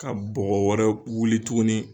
Ka bɔgɔ wɛrɛ wuli tuguni